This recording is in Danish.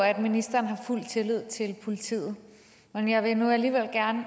at ministeren har fuld tillid til politiet men jeg vil nu alligevel gerne